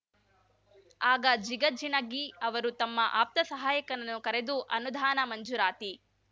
ಆಗ ಜಿಗಜಿಣಗಿ ಅವರು ತಮ್ಮ ಆಪ್ತ ಸಹಾಯಕನನ್ನು ಕರೆದು ಅನುದಾನ ಮಂಜೂರಾತಿ